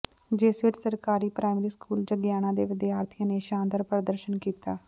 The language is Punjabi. ਜਿਸ ਵਿੱਚ ਸਰਕਾਰੀ ਪ੍ਰਾਇਮਰੀ ਸਕੂਲ ਜੰਗੀਆਣਾ ਦੇ ਵਿਦਿਆਰਥੀਆਂ ਨੇ ਸ਼ਾਨਦਾਰ ਪ੍ਰਦਰਸ਼ਨ ਕੀਤਾ